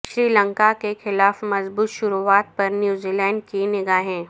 سری لنکا کے خلاف مضبوط شروعات پر نیوزی لینڈ کی نگاہیں